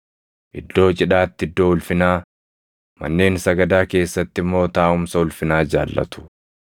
Iddoo cidhaatti iddoo ulfinaa, manneen sagadaa keessatti immoo taaʼumsa ulfinaa jaallatu.